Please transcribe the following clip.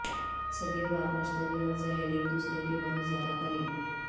صدیوں بعد مشتری اور زحل ایک دوسرے کے بہت زیادہ قریب